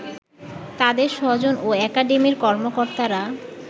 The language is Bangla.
তাদের স্বজন ও একাডেমির কর্মকর্তারা